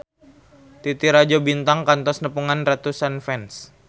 Titi Rajo Bintang kantos nepungan ratusan fans